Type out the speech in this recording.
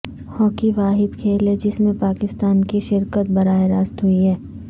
hockey واحد کھیل ہے جس میں پاکستان کی شرکت براہ راست ہوئی ہے